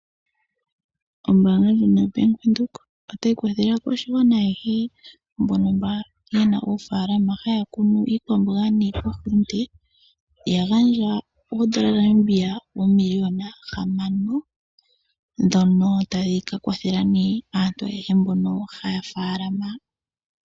Ombaanga yo bank Windhoek otayi kwathele aakwashigwana ayehe mbono yena oofaalama haya kunu iikwamboga niihulunde yagandja oondola dhaNamibia oomiliona hamanono ndhono tadhi kakwathela aantu ayehe mbono yena oofaalama.